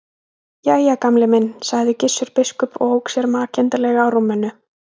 Jæja, Gamli minn sagði Gissur biskup og ók sér makindalega á rúminu.